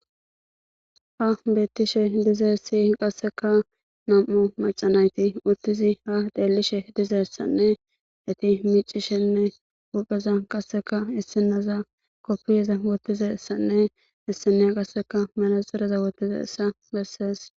Ha bettishe dize siy qasseka nam'o macanayti uttizi ha deelishe dize essanne eti micishenne wupeza qasseka issinaza koppiyeza wottiza issanne issineya qasseka mala xireza wottize issa bessees.